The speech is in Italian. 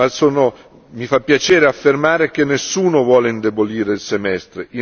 Ma mi fa piacere affermare che nessuno vuole indebolire il semestre.